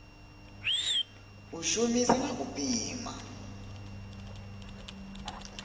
u shumisa na u pima